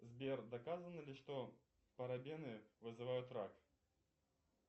сбер доказано ли что парабены вызывают рак